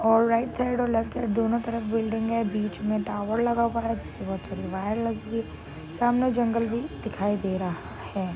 और right side और left side दोनों तरफ बिल्डिंग है। बिच मे टावर लगा हुआ है। जिसपे बहुत सारी वायर लगी हुई सामने जंगल भी दिखाई दे रहा है।